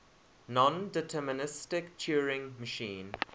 nondeterministic turing machine